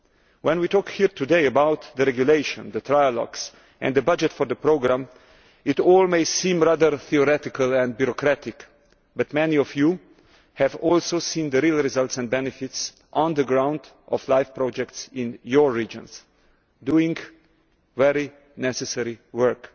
When we talk here today about the regulation, the trialogues and the budget for the programme, it all may seem rather theoretical and bureaucratic but many of you have seen the real results, and the benefits on the ground, of LIFE projects in your regions doing very necessary work.